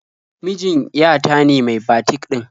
Mijin ya ta ne mai batik ɗin.